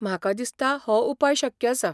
म्हाका दिसता हो उपाय शक्य आसा.